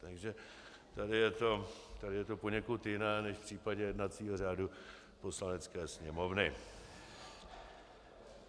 Takže tady je to poněkud jiné než v případě jednacího řádu Poslanecké sněmovny.